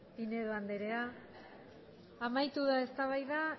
pinedo anderea amaitu da eztabaida